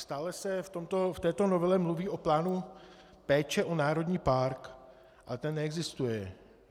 Stále se v této novele mluví o plánu péče o národní park, ale ten neexistuje.